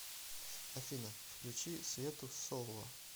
афина включи свету солла